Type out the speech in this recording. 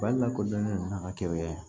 Bali lakodɔnnen don a ka kɛlɛkɛ